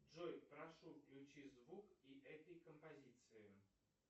джой прошу включи звук и этой композиции